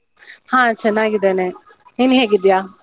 ಹ ಚನ್ನಾಗಿದ್ದೇನೆ, ನೀನ್ ಹೇಗಿದ್ಯ?